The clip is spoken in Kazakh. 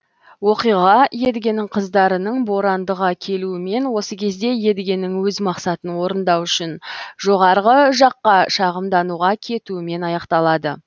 оқиға едігенің қыздарының борандыға келуімен осы кезде едігенің өз мақсатын орындау үшін жоғарғы жаққа шағымдануға кетуімен аяқталады